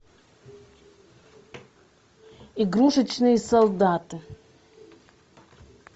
игрушечные солдаты